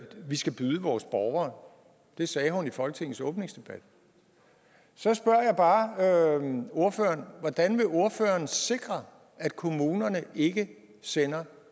vi skal byde vores borgere det sagde hun i folketingets åbningsdebat så spørger jeg bare ordføreren hvordan vil ordføreren sikre at kommunerne ikke sender